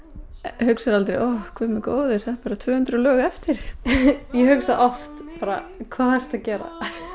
hugsarðu guð minn góður það eru tvö hundruð lög eftir ég hugsa oft hvað ertu að gera